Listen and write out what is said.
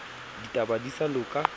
di batla di sa loka